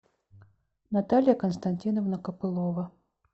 наталья константиновна копылова